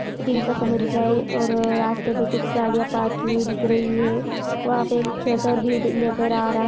दिन का समय दिख रहा है और रास्ते पे कुछ गाड़ियां पार्क की हुयी दिख रही हैं वहाँ पे छोटा बिल्डिंग नजर आ रहा है।